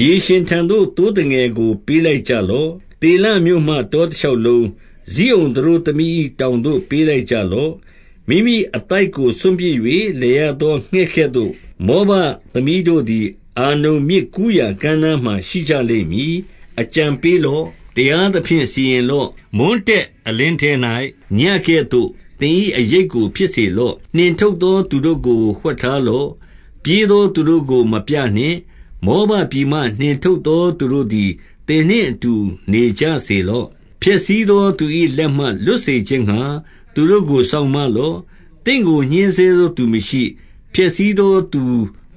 မြေရှင်ထံသို့ သိုးသငယ်ကို ပေးလိုက်ကြလော့။သေလမြို့မှတောတရှောက်လုံး၊ ဇိအုန်သတို့သမီး၏ တောင်သို့ပေးလိုက်ကြလော့။ မိမိအသိုက်ကို စွန့်ပစ်၍ လည်ရသောငှက်ကဲ့သို့၊ မောဘသမီးတို့သည် အာနုန်မြစ်ကူးရာကမ်းနားမှာ ရှိကြလိမ့်မည်။ အကြံပေးလော့။ တရားသဖြင့် စီရင်လော့။ မွန်းတည့်အလင်းထဲ၌ ညဉ့်ကဲ့သို့ သင်၏အရိပ်ကို ဖြစ်စေ လော့။ နှင်ထုတ်သောသူတို့ကို ဝှက်ထားလော့။ ပြေးသော သူတို့ကို မပြနှင့်။ မောဘပြည်မှ နှင်ထုတ်သော သူတို့သည် သင် နှင့်အတူနေကြစေလော့။ ဖျက်ဆီးသောသူ၏ လက်မှ လွတ်စေခြင်းငှါ သူတို့ကိုစောင့်မလော့။ သင်ကို ညှဉ်းဆဲ သောသူမရှိ။ ဖျက်ဆီးသောသူ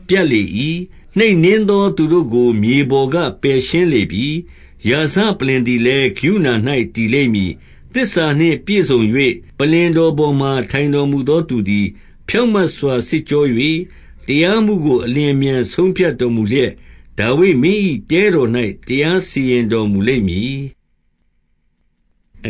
ပြတ်လေ၏။ နှိပ်နင်းသော သူတို့ကို မြေပေါ်ကပယ်ရှားလေပြီ။ ရာဇပလ္လင်သည်လည်း၊ ကရုဏာ၌တည်လိမ့် မည်။ သစ္စာနှင့်ပြည့်စုံ၍၊ ပလ္လင်တော်ပေါ်မှာ ထိုင်တော် မူသောသူသည် ဖြောင့်မတ်စွာ စစ်ကြော၍၊ တရားမှုကို အလျင်အမြန် ဆုံးဖြတ်တော်မူလျက်၊ ဒါဝိဒ်မင်း၏ တဲတော်၌ တရားစီရင်တော်မူလိမ့်မည်။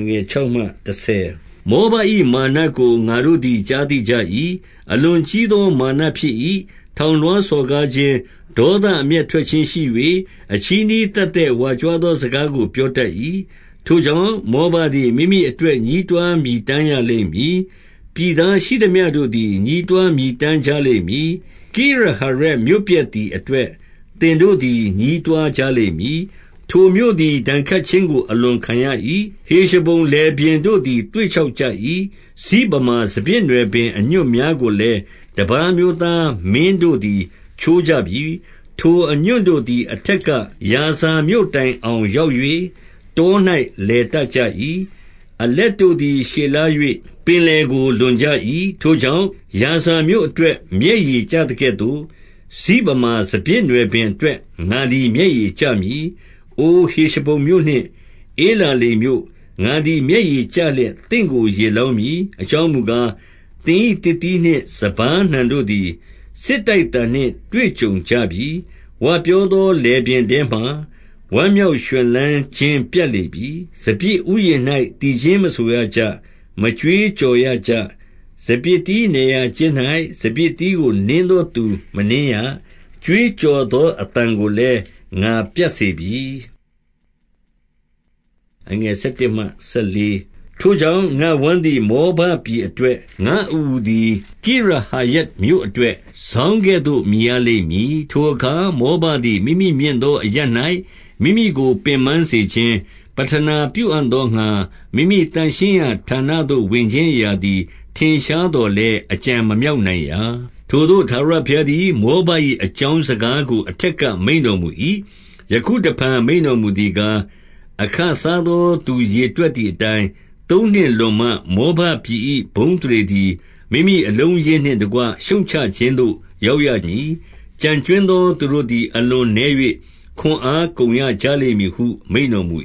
မောဘ၏ မာနကို ငါတို့သည်ကြားသိကြ၏။ အလွန်ကြီးသော မာနဖြစ်၏။ ထောင်လွှားစော်ကားခြင်း၊ ဒေါသအမျက်ထွက်ခြင်းရှိ၍၊ အချည်းနှီးသက်သက်ဝါ ကြွားသော စကားကိုပြောတတ်၏။ ထို့ကြောင့်၊ မောဘသည် မိမိအတွက်ညည်းတွား မြည်တမ်းရလိမ့်မည်။ ပြည်သားရှိသမျှတို့သည် ညည်း တွားမြည်တမ်းကြလိမ့်မည်။ ကိရဟရက်မြို့ပျက်သည်အ တွက် သင်တို့သည်ညည်းတွားကြလိမ့်မည်။ ထိုမြို့သည် ဒဏ်ခတ်ခြင်းကို အလွန်ခံရ၏။ ဟေရှဘုန် လယ်ပြင်တို့သည် သွေ့ခြောက်ကြ ၏။ စိဗမာစပျစ်နွယ်ပင် အညွန့်များကိုလည်း တပါး အမျိုးသားမင်းတို့သည် ချိုးကြပြီ။ ထိုအညွန့်တို့သည် အထက်က ယာဇာမြို့တိုင်အောင် ရောက်၍၊တော၌လည် တတ်ကြ၏။ အလက်တို့သည် ရှည်လျား၍၊ ပင်လယ် ကိုလွန်ကြ၏။ ထို့ကြောင့်၊ ယာဇာမြို့အတွက်မျက်ရည်ကျသ ကဲ့သို့၊ စိဗမာစပျစ်နွယ်ပင်အတွက် ငါသည်မျက်ရည် ကျမည်။ အိုဟေရှဘုန်မြို့နှင့် ဧလာလေမြို့၊ ငါသည် မျက်ရည်ကျလျက် သင့်ကိုရေလောင်းမည်။ အကြောင်းမူကား၊ သင်၏သစ်သီးနှင့် စပါးနှံတို့သည် စစ်တိုက်သံနှင့် တွေ့ကြုံကြပြီ။ ဝပြောသောလယ်ပြင်ထဲမှာ ဝမ်းမြောက်ရွှင် လန်းခြင်း ပြတ်လေပြီ။ စပျစ်ဥယျာဉ်၌ သီချင်းမဆိုရကြ။ မကြွေးကြော်ရကြ။ စပျစ်သီးနယ်ရာကျင်း၌ စပျစ်သီး ကိုနင်းသောသူလည်း မနင်းရ။ ကြွေးကြော်သော အသံ ကိုလည်းငါ ပြတ်စေပြီ။ ထို့ကြောင့်၊ ငါ့ဝမ်းသည် မောဘပြည်အတွက်၊ ငါ့အအူသည် ကိရဟရက်မြို့အတွက်၊ စောင်းကဲ့သို့ မြည်ရ လိမ့်မည်။ ထိုအခါ မောဘသည် မိမိမြင့်သောအရပ်၌ မိမိကို ပင်ပန်းစေခြင်း၊ ပဌနာပြုအံ့သောငှါ မိမိသန့်ရှင်း ရာ ဌာနသို့ ဝင်ခြင်းအရာသည် ထင်ရှားသော်လည်း၊ အကြံမမြောက်နိုင်ရာ။ ထိုသို့ ထာဝရဘုရားသည် မောဘ၏ အ ကြောင်းစကားကို အထက်က မိန့်တော်မူ၏။ ယခုတဖန် မိန့်တော်မူသည်ကား၊ အခစား သောသူရေတွက်သည်အတိုင်း၊ သုံးနှစ်လွန်မှ၊ မောဘ ပြည်၏ ဘုန်းအသရေသည် မိမိအလုံးအရင်းနှင့်တကွ ရှုတ်ချခြင်းသို့ ရောက်ရမည်။ ကျန်ကြွင်းသောသူတို့သည် အလွန်နည်း၍၊ ခွန်အားကုန်ရကြလိမ့်မည်ဟု မိန့်တော်မူ